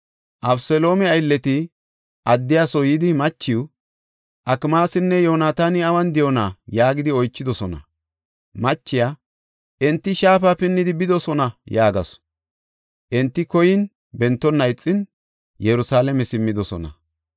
Abeseloome aylleti addiya soo yidi machiw, “Akmaasinne Yoonataani awun de7oona?” yaagidi oychidosona. Machiya, “Enti shaafa pinnidi bidosona” yaagasu. Enti koyin, bentonna ixin, Yerusalaame simmidosona.